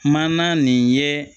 Maana nin ye